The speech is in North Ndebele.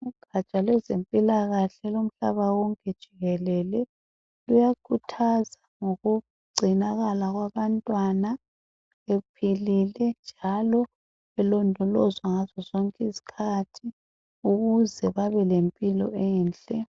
Ugatsha lwezempilakahle lomhlaba wonke jikelele luyakhuthaza ngokugcinakala kwabantwana ephilile njalo elondolozwa ngazo zonke izikhathi ukuze babe lemphilo enhle